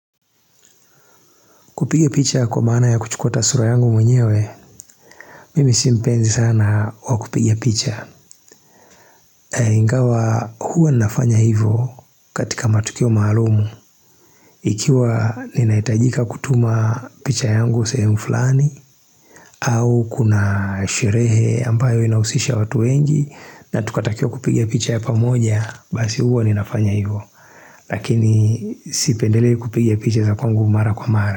Kupige picha kwa maana ya kuchukua ata sura yangu mwenyewe, mimi si mpenzi sana wa kupiga picha. Ingawa huwa ninafanya hivyo katika matukio maalum. Ikiwa ninahitajika kutuma picha yangu sehemu flani, au kuna sherehe ambayo inausisha watu wengi, na tukatakiwa kupiga picha ya pamoja, basi huwa ninafanya hivyo. Lakini sipendelei kupiga picha za kwangu mara kwa mara.